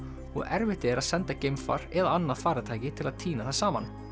og erfitt er að senda geimfar eða annað farartæki til að tína það saman